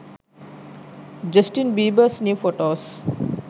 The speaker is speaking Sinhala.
justin biebers new photos